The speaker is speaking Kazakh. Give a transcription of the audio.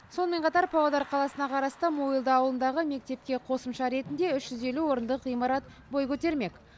сонымен қатар павлодар қаласына қарасты мойылды ауылындағы мектепке қосымша ретінде үш жүз елу орындық ғимарат бой көтермек